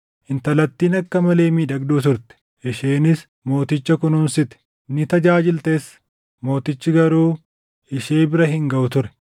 Intalattiin akka malee miidhagduu turte; isheenis mooticha kunuunsite; ni tajaajiltes; mootichi garuu ishee bira hin gaʼu ture.